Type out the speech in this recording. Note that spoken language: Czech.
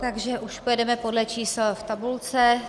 Takže už pojedeme podle čísel v tabulce.